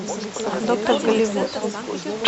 доктор голливуд